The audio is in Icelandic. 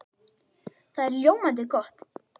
Það er ljómandi gott!